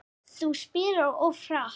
Þú spilar svo hratt.